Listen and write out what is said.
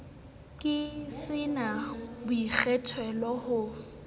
ke sa na boikgethelo ha